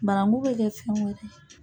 Bananku be kɛ fɛn wɛrɛ ye.